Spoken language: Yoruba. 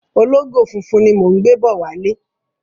Ológò funfun ni mò ń gbé bọ̀ wálé.